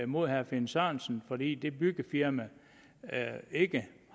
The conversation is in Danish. mod herre finn sørensen fordi det byggefirma ikke